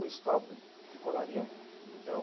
O stop, de colarinho, de botão.